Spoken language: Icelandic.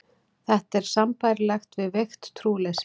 Þetta er sambærilegt við veikt trúleysi.